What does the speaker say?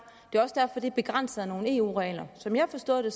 er begrænset af nogle eu regler som jeg har forstået det